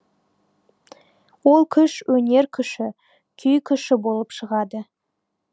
ол күш өнер күші күй күші болып шығады